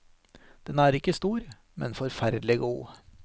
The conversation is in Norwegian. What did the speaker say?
Den er ikke stor, men forferdelig god.